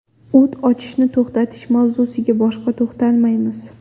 O‘t ochishni to‘xtatish mavzusiga boshqa to‘xtalmaymiz.